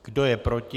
Kdo je proti?